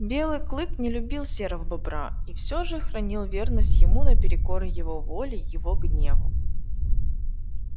белый клык не любил серого бобра и всё же хранил верность ему наперекор его воле его гневу